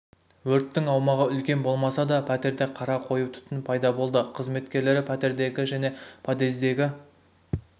өрттің аумағы үлкен болмаса да пәтерде қара қою түтін пайда болды қызметкерлері пәтердегі және подъездегі